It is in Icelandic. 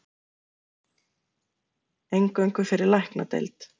Eingöngu fyrir læknadeild